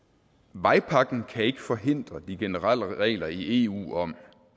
vejpakken kan ikke forhindre de generelle regler i eu om at